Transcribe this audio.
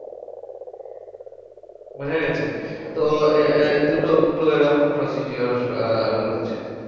বোঝাগেছে? হ্যাঁ তো আহ দুটো দুটো এরকম procedure আহ রয়েছে।